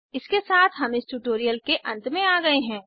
इसके साथ हम इस ट्यूटोरियल के अंत में आ गए हैं